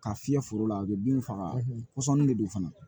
Ka fiyɛ foro la a bɛ bin faga kɔsɔnni de don fana